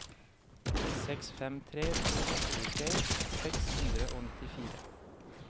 seks fem tre to tjuetre seks hundre og nittifire